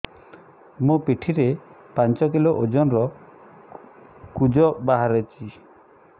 ମୋ ପିଠି ରେ ପାଞ୍ଚ କିଲୋ ଓଜନ ର କୁଜ ବାହାରିଛି